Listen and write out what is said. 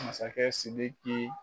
Masakɛ sidiki